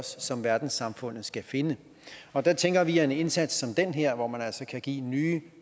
som verdenssamfundet skal finde der tænker vi at en indsats som den her hvor man altså kan give nye